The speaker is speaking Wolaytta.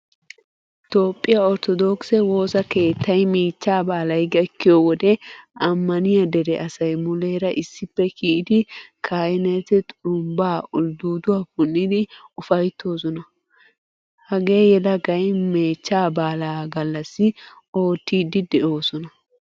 Toophphiyaa orttodokise woosaa keettay mechcha baalay gakkiyode amaniyaa dere asay mulera issippe kiyide kahineti xurumbba uldduduwaa punnidi ufaytoosona. Hageeyelagay mechcha baalaa gallasi oottidi deosona.